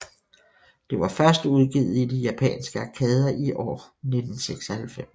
Det var først udgivet i de japanske arkader i år1996